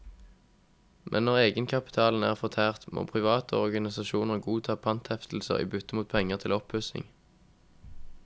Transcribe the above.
Men når egenkapitalen er fortært, må private og organisasjoner godta panteheftelser i bytte mot penger til oppussing.